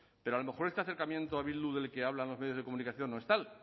pero a lo mejor este acercamiento a bildu del que hablan los medios de comunicación no es tal